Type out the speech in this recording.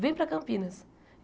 Vem para Campinas.